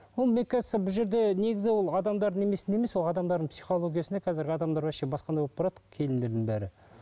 ол мне кажется бұл жерде негізі ол адамдардың немесінде емес ол адамдардың психологиясында қазіргі адамдар вообще басқандай болып баратыр келіндердің бәрі